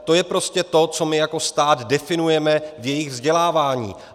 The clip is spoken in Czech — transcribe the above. To je prostě to, co my jako stát definujeme v jejich vzdělávání.